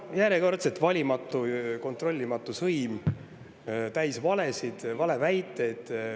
Järjekordselt valimatu, kontrollimatu sõim täis valesid, valeväiteid.